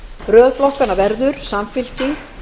röð flokkanna verður samfylking